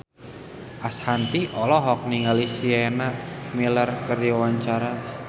Ashanti olohok ningali Sienna Miller keur diwawancara